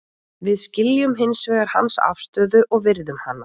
Við skiljum hins vegar hans afstöðu og virðum hana.